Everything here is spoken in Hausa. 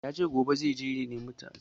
Yace jibi zai je ya nimi gafara a wajen Shinto